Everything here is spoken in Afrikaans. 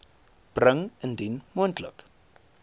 bring indien moontlik